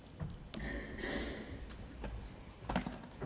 tak for